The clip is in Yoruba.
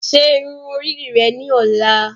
Ṣe irun ori rẹ ni ọla